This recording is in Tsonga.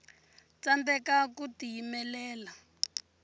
tsandeka ku tiyimelela